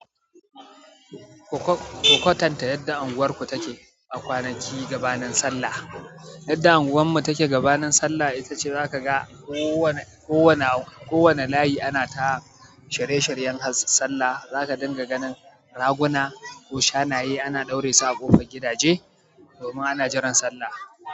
Ku kwatanta yadda unguwarku take a kwanaki gabanin. Sallah. Yadda unguwarmu take gabanin Sallah ita ce zaka ga kowane, kowane, kowane layi ana ta shirye shiryen sallah. Zaka dinga ganin raguna ko shanayen ana ɗaure su a ƙofar gidaje domin ana jiran Sallah.